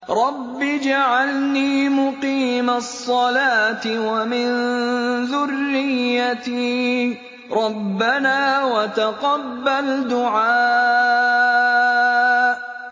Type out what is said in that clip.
رَبِّ اجْعَلْنِي مُقِيمَ الصَّلَاةِ وَمِن ذُرِّيَّتِي ۚ رَبَّنَا وَتَقَبَّلْ دُعَاءِ